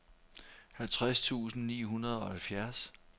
halvtreds tusind ni hundrede og halvfjerds